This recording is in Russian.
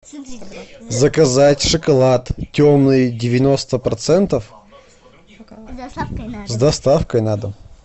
заказать шоколад темный девяносто процентов с доставкой на дом